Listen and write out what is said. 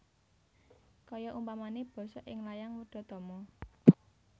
Kaya umpane basa ing layang Wedhatama